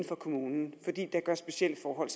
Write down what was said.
kommunen fordi specielle forhold